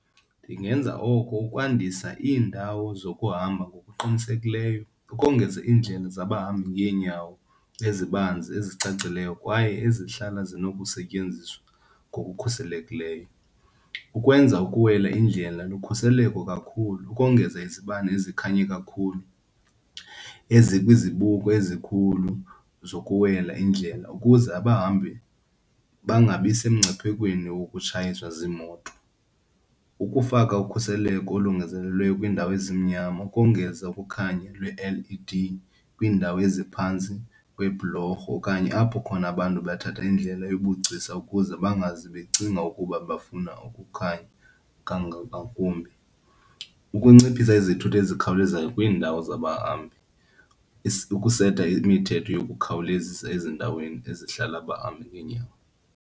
Ndingenza oko ukwandisa iindawo zokuhamba ngokuqinisekileyo, ukongeza iindlela zabo bahamba ngeenyawo ezibanzi ezicacileyo kwaye ezihlala zinokusetyenziswa ngokukhuselekileyo. Ukwenza ukuwela indlela lukhuseleko kakhulu, ukongeza izibane ezikhanye kakhulu ezikwizibuko ezikhulu zokuwela indlela ukuze abahambi bangabi semngciphekweni wokutshayiswa ziimoto. Ukufaka ukhuseleko olongezelelweyo kwiindawo ezimnyama, ukongeza ukukhanya lwe-L_E_D kwiindawo eziphantsi kwebhulorho okanye apho khona abantu bathatha indlela yobugcisa ukuze bangazi becinga ukuba babafuna ukukhanya ngakumbi. Ukunciphisa izithuthi ezikhawulezayo kwiindawo zabahambi, ukuseta imithetho yokukhawulezisa ezindaweni ezihlala abahambi ngeenyawo.